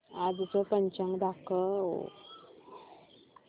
आजचं पंचांग दाखव